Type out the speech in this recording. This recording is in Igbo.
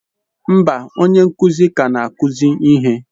Mba, onye nkuzi ka na-akụzi ihe.